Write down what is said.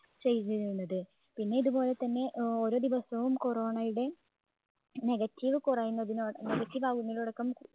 ചെയ്തിരുന്നത്. പിന്നെ ഇത് പോലെത്തന്നെ ഏർ ഓരോ ദിവസവും corona യുടെ negative കുറയുന്നതിനോട് negative ആവുന്നതിനോട്